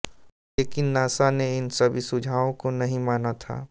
लेकिन नासा ने इन सभी सुझावो को नहीं माना था